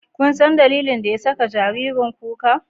Kunsan dalilin da ya saka jaririn kuka?